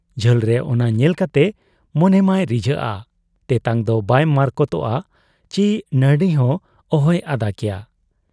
ᱡᱷᱟᱹᱞᱨᱮ ᱚᱱᱟ ᱧᱮᱞ ᱠᱟᱛᱮ ᱢᱚᱱᱮ ᱢᱟᱭ ᱨᱤᱡᱷᱟᱹᱣ ᱟ, ᱛᱮᱛᱟᱝ ᱫᱚ ᱵᱟᱭ ᱢᱟᱟᱨᱛᱚᱠ ᱟ ᱪᱤ ᱱᱟᱹᱨᱲᱤ ᱦᱚᱸ ᱚᱦᱚᱭ ᱟᱫᱟ ᱠᱮᱭᱟ ᱾